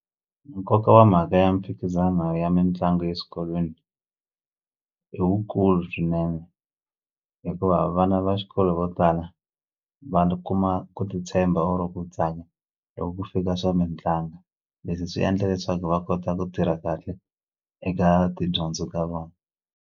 Nkoka wa mhaka ya mimphikizano ya mitlangu eswikolweni i wukulu swinene hikuva vana va xikolo vo tala kuma ku titshemba or-o ku loko ku fika swa mitlangu leswi swi endla leswaku va kota ku tirha kahle eka tidyondzo ta vona.